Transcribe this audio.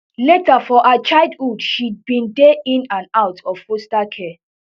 later for her childhood she bin dey in and out of foster care